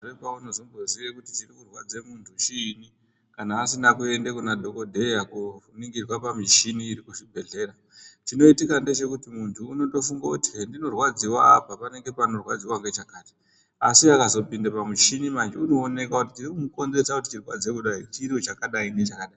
...unozomboziye kuti chirikurwadze muntu chiini kana asina kuende kuna dhogodheya kuoningirwa pamuchini iri kuzvibhedhlera. Chinoitika ndechekuti muntu unondofunga kuti hendinorwadziwa apa panenge panorwadziwa ngechakati. Asi akazopinde pamuchini manje unooneka kuti chirikumukonzeresa kuti chirwadze kudai chiro chakadai nechakadai